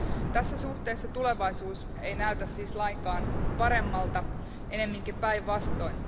Tässä suhteessa tulevaisuus ei näytä siis lainkaan paremmalta, ennemminkin päinvastoin.